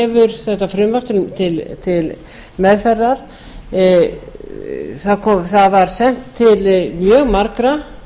hefur þetta frumvarp til meðferðar það var sent til mjög margra